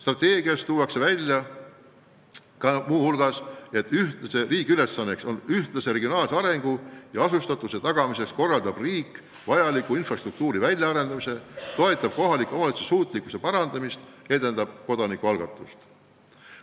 Muu hulgas tuuakse välja, et riik korraldab ühtlase regionaalse arengu ja asustatuse tagamiseks vajaliku infrastruktuuri väljaarendamise, toetab kohalike omavalitsuste suurema suutlikkuse saavutamist ja edendab kodanikualgatust.